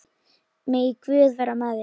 Megi Guð vera með þér.